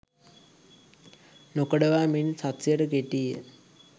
නොකඩවා මිනිස් හස්තයට කෙටීය.